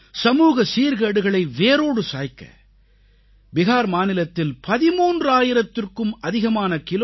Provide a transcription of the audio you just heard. சமூக சீர்கேடுகளை வேரோடு சாய்க்க பிஹார் மாநிலத்தில் 13000த்திற்கும் அதிகமான கி